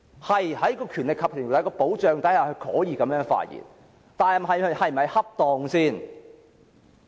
對，在《條例》保障下，他可以這樣發言，但這是否恰當？